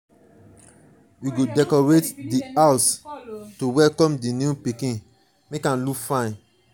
we go decorate di house to welcome di new pikin make am look fine.